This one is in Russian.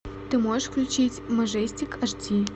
ты можешь включить мажестик аш ди